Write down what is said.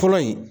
Fɔlɔ in